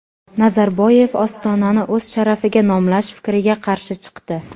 Nazarboyev Ostonani o‘z sharafiga nomlash fikriga qarshi chiqdi.